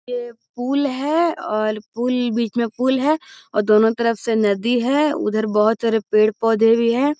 ये पूल है और पूल बिच में पूल है और दोनों तरफ से नदी है उधर बहुत सारे पेड़ पौधे भी हैं I